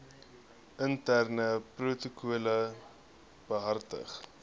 interne protokolle behartig